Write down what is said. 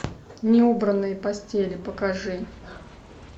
неубранные постели покажи